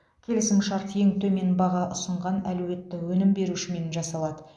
келісімшарт ең төмен баға ұсынған әлеуетті өнім берушімен жасалады